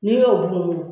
N'i y'o dun